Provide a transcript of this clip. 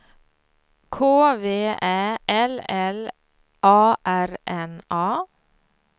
K V Ä L L A R N A